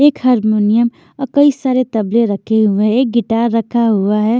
एक हारमोनियम और कई सारे तबले रखे हुए हैं एक गिटार रखा हुआ है।